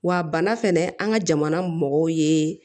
Wa bana fɛnɛ an ka jamana mɔgɔw ye